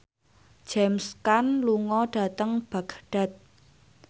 James Caan lunga dhateng Baghdad